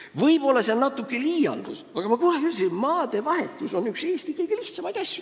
Võib-olla on see natuke liialdus, aga minu meelest on maadevahetus läbi aegade olnud üks Eesti kõige lihtsamaid asju.